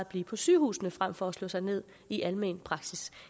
blive på sygehusene frem for at slå sig ned i almen praksis